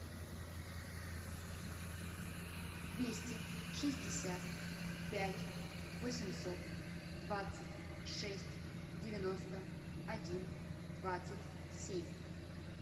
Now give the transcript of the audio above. двести шестьдесят пять восемьсот двадцать шесть девяносто один двадцать семь